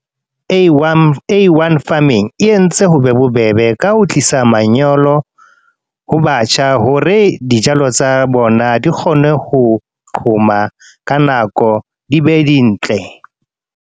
A_l. A_l farming, e entse ho be bobebe ka ho tlisa manyolo, ho batjha. Hore dijalo tsa bona di kgone ho qhoma, ka nako di be dintle.